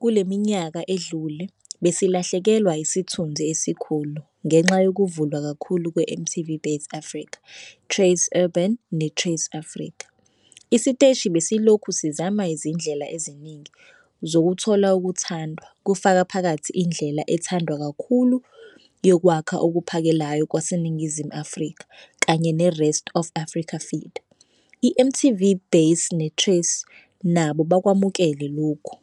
kule minyaka edlule, besilahlekelwa isithunzi esikhulu ngenxa yokuvulwa kakhulu kweMTV Base Africa, Trace Urban neTrace Africa. Isiteshi besilokhu sizama izindlela eziningi zokuthola ukuthandwa kufaka phakathi indlela ethandwa kakhulu yokwakha okuphakelayo kwaseNingizimu Afrika kanye ne-Rest of Africa feed, i-MTV Base neTrace nabo bakwamukele lokhu,